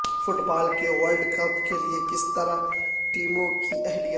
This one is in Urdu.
فٹ بال کے ورلڈ کپ کے لئے کس طرح ٹیموں کی اہلیت